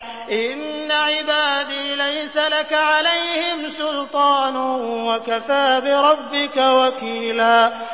إِنَّ عِبَادِي لَيْسَ لَكَ عَلَيْهِمْ سُلْطَانٌ ۚ وَكَفَىٰ بِرَبِّكَ وَكِيلًا